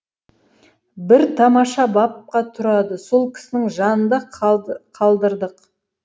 бір тамаша бабка тұрады сол кісінің жанында қалдырдық